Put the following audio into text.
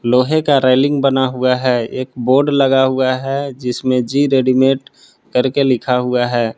लोहे का रेलिंग बना हुआ है एक बोर्ड लगा हुआ है जिसमें जी_रेडीमेड करके लिखा हुआ है।